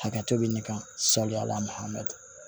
Hakɛto bɛ ɲɛ kan sariya la hamitu